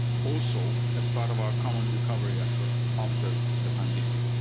jobs to the region, also as part of our common recovery effort after